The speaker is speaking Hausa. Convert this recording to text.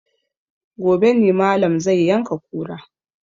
Gobe ne malam zai yanka kura